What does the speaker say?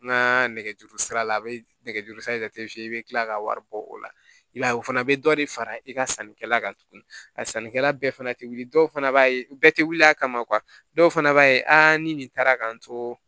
N ka nɛgɛjuru sira la a bɛ nɛgɛjurusira in tɛ f'i ye i bɛ tila ka wari bɔ o la i b'a ye o fana bɛ dɔ de fara i ka sannikɛla kan tuguni a sannikɛla bɛɛ fana tɛ wuli dɔw fana b'a ye bɛɛ tɛ wuli a kama dɔw fana b'a ye ni nin taara ka n to